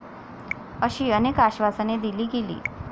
अशी अनेक आश्वासने दिली गेली.